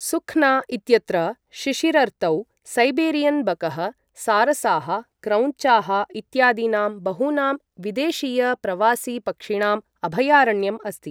सुख्ना इत्यत्र शिशिरर्तौ सैबेरियन् बकः, सारसाः, क्रौञ्चाः इत्यादीनां बहूनां विदेशीय प्रवासी पक्षिणाम् अभयारण्यम् अस्ति।